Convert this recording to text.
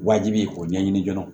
Wajibi k'o ɲɛɲini dɔrɔn